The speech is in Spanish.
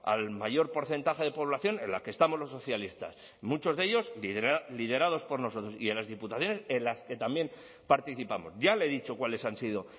al mayor porcentaje de población en la que estamos los socialistas muchos de ellos liderados por nosotros y las diputaciones en las que también participamos ya le he dicho cuáles han sido